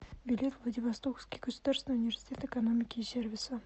билет владивостокский государственный университет экономики и сервиса